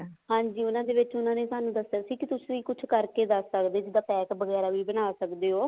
ਹਾਂਜੀ ਉਹਨਾ ਦੇ ਵਿੱਚ ਉਹਨਾ ਨੇ ਸਾਨੂੰ ਦੱਸਿਆ ਸੀ ਕੇ ਤੁਸੀਂ ਕੁਛ ਕਰਕੇ ਦੱਸ ਸਕਦੇ ਹੋ ਜਿੱਦਾਂ ਕੁੱਛ ਪੈਕ ਵਗੈਰਾ ਵੀ ਬਣਾ ਸਕਦੇ ਹੋ